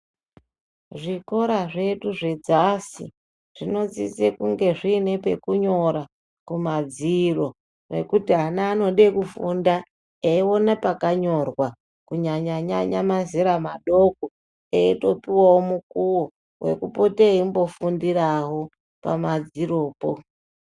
Zvikora zvedu zvedzasi zvinodzidze kunge zvinepekunyora kumadziro nekuti ana anode kufunda eyiwona pakanyorwa kunyanya nyanya mazera madoko eyitopiwawo mukuwo ekupote eyimbofundirawo pamadziropo.